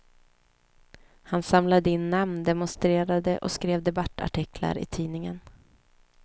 Han samlade in namn, demonstrerade och skrev debattartiklar i tidningen.